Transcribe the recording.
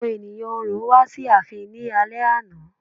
Àwọn ènìyàn Orò wá sí ààfin ní alẹ́ àná.